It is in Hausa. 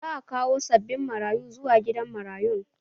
Za a kawo sabbin marayu zuwa gidan marayun